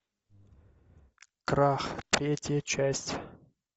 крах третья часть